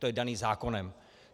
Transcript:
To je dané zákonem.